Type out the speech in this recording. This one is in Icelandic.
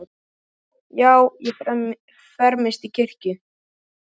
Já, ég fermist í kirkju